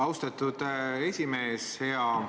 Austatud esimees!